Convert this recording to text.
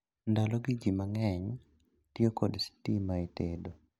Ndalo gi jii mang'eny tiyo kod sitima e tedo